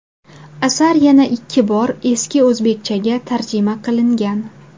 Asar yana ikki bor eski o‘zbekchaga tarjima qilingan.